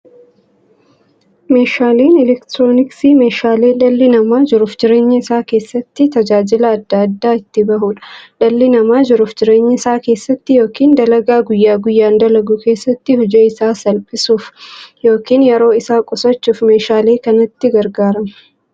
Meeshaaleen elektirooniksii meeshaalee dhalli namaa jiruuf jireenya isaa keessatti, tajaajila adda addaa itti bahuudha. Dhalli namaa jiruuf jireenya isaa keessatti yookiin dalagaa guyyaa guyyaan dalagu keessatti, hojii isaa salphissuuf yookiin yeroo isaa qusachuuf meeshaalee kanatti gargaarama.